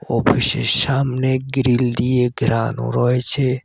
অফিসের সামনে গ্রিল দিয়ে ঘেরানো রয়েছে।